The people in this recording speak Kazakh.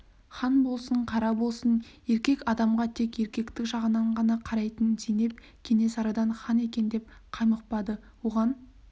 хан болсын қара болсын еркек адамға тек еркектік жағынан ғана қарайтын зейнеп кенесарыдан хан екен деп қаймықпады оған